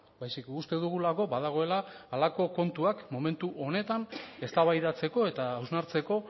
baizik uste dugulako badagoela halako kontuak momentu honetan eztabaidatzeko eta hausnartzeko